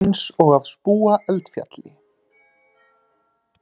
Eins og spúandi eldfjall.